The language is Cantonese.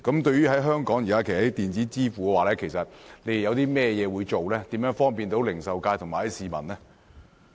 對於香港現時在電子支付方面，當局會推行甚麼措施，以方便零售界和市民？